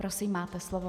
Prosím, máte slovo.